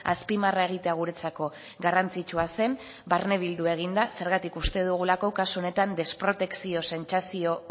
azpimarra egitea guretzako garrantzitsua zen barnebildu egin da zergatik uste dugulako kasu honetan desprotekzio sentsazio